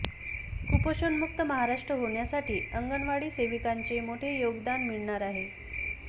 कुपोषणमुक्त महाराष्ट्र होण्यासाठी अंगणवाडी सेविकांचे मोठे योगदान मिळणार आहे